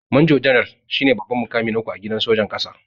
manjo janar shine babban mukami na uku a gidan sojan ƙasa.